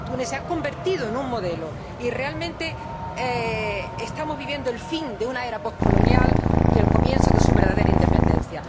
Túnez se ha convertido en un modelo, y realmente estamos viviendo el fin de una era poscolonial y el comienzo de su verdadera independencia.